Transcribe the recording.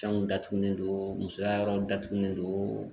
Fɛnw datugulen don musoya yɔrɔw datugulen don